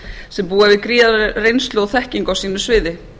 sem búa yfir gríðarlegri reynslu og þekkingu á sínu sviði